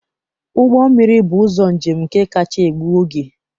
Ụgbọ mmiri bụ ụzọ njem nke kacha egbu oge